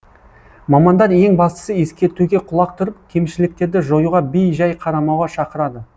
мамандар ең бастысы ескертуге құлақ түріп кемшіліктерді жоюға бей жай қарамауға шақырады